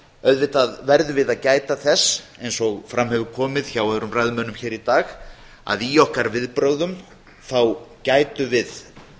auðvitað verðum við að gæta þess eins og fram hefur komið hjá öðrum ræðumönnum hér í dag að í okkar viðbrögðum þá gætum við